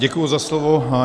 Děkuji za slovo.